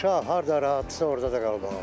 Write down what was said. Uşaq harda rahatdırsa, orda da qalmalıdır.